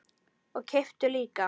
Og kepptu líka.